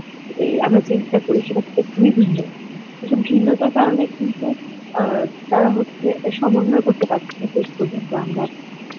আমরা যেটা করি সেটা বিভিন্ন এসব ঘৃণতার কারণে কিন্তু আ তারা হচ্ছে সমন্বয় করতে পারছে না শেষ পর্যন্ত আমরা